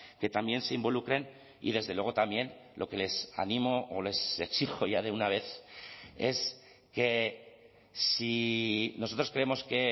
que también se involucren y desde luego también lo que les animo o les exijo ya de una vez es que si nosotros creemos que